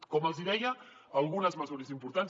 com els hi deia algunes mesures importants